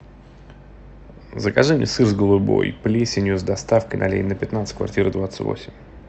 закажи мне сыр с голубой плесенью с доставкой на ленина пятнадцать квартира двадцать восемь